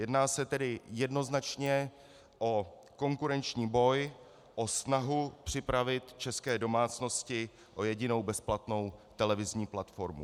Jedná se tedy jednoznačně o konkurenční boj, o snahu připravit české domácnosti o jedinou bezplatnou televizní platformu.